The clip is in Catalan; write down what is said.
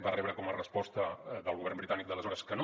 va rebre com a resposta del govern britànic d’aleshores que no